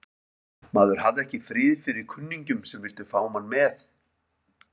Maður hafði ekki frið fyrir kunningjum sem vildu fá mann með.